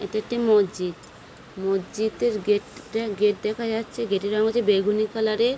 এটি একটি মসজিদ। মসজিদ এর গেট টা গেট দেখা যাচ্ছে। গেট এর রং হচ্ছে বেগুনি কালার - এর --